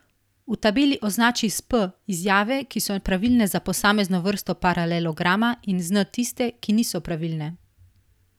V tabeli označi s P izjave, ki so pravilne za posamezno vrsto paralelograma, in z N tiste, ki niso pravilne.